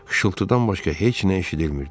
Xışıltıdan başqa heç nə eşidilmirdi.